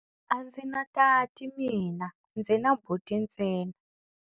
A ndzi na tati mina, ndzi na buti ntsena.